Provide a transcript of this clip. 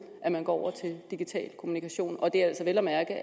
at man går over til digital kommunikation og det er altså vel at mærke